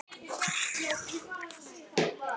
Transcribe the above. Heyrið hvað hann segir.